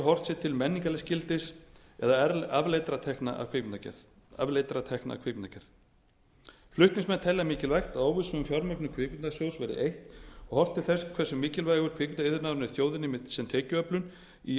horft sé til menningarlegs gildis eða afleiddra tekna af kvikmyndagerð flutningsmenn telja mikilvægt að óvissu um fjármögnun kvikmyndasjóðs verði eytt og horft til þess hversu mikilvægur kvikmyndaiðnaðurinn er þjóðinni sem tekjuöflun í